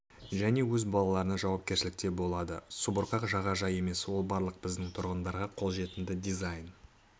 және өз балаларына жауапкершілікте болады субұрқақ жағажай емес ол барлық біздің тұрғындарға қол жетімді дизайн